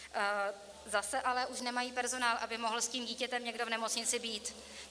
Zase ale už nemají personál, aby mohl s tím dítětem někdo v nemocnici být.